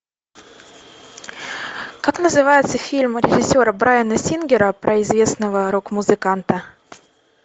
как называется фильм режиссера брайана сингера про известного рок музыканта